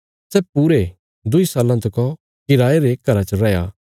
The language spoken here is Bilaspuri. सै पूरे दुईं साल्लां तका किराये रे घरा च रैया